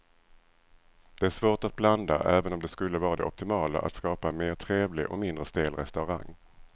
Det är svårt att blanda även om det skulle vara det optimala att skapa en mer trevlig och mindre stel restaurang.